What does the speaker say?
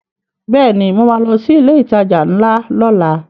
Bẹ́ẹ̀ni mo ma lọ sí ilé ìtajà ńlá lọ́la